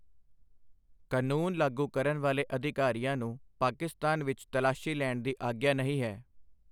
ਕਾਨੂੰਨ ਲਾਗੂ ਕਰਨ ਵਾਲੇ ਅਧਿਕਾਰੀਆਂ ਨੂੰ ਪਾਕਿਸਤਾਨ ਵਿੱਚ ਤਲਾਸ਼ੀ ਲੈਣ ਦੀ ਆਗਿਆ ਨਹੀਂ ਹੈ।